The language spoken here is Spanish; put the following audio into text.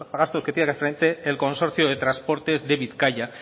gastos que tiene que hacer frente en consorcio de transportes de bizkaia